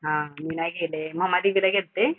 हा मी नाही गेलेय. मुम्बा देवीला गेल्ते.